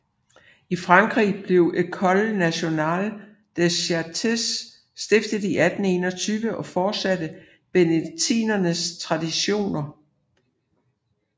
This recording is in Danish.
I Frankrig blev École nationale des chartes stiftet i 1821 og fortsatte benediktinernes traditioner